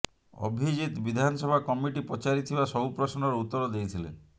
ଅଭିଜିତ ବିଧାନସଭା କମିଟି ପଚାରିଥିବା ସବୁ ପ୍ରଶ୍ନର ଉତ୍ତର ଦେଇଥିଲେ